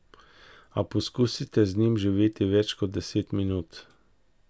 A poskusite z njim živeti več kot deset minut.